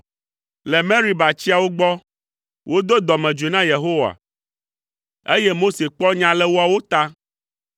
Le Meriba tsiawo gbɔ, wodo dɔmedzoe na Yehowa, eye Mose kpɔ nya le woawo ta.